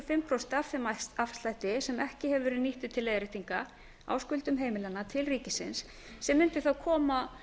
og fimm prósent af þeim afslætti sem ekki hefur verið nýttur til leiðréttinga á skuldum heimilanna til ríkisins sem mundi þá koma